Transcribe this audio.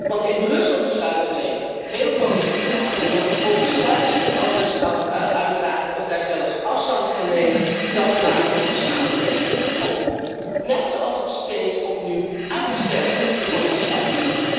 Want in Brussel besluiten nemen, heel collegiaal, en dan vervolgens thuis iets anders uitdragen of daar zelfs afstand van nemen, dat maakt onze samenwerking kapot. Net zoals het steeds opnieuw uitstellen van besluiten!